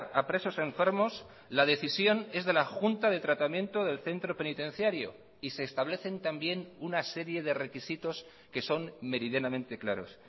a presos enfermos la decisión es de la junta de tratamiento del centro penitenciario y se establecen también una serie de requisitos que son meridianamente claros